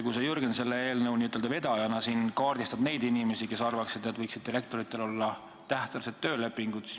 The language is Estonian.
Sa, Jürgen, selle eelnõu n-ö vedajana kaardistad neid inimesi, kes arvavad, et direktoritel võiksid olla tähtajalised töölepingud.